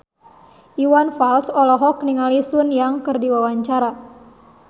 Iwan Fals olohok ningali Sun Yang keur diwawancara